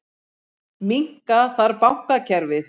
Minnka þarf bankakerfið